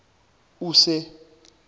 use